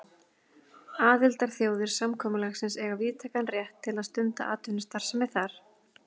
Aðildarþjóðir samkomulagsins eiga víðtækan rétt til að stunda atvinnustarfsemi þar.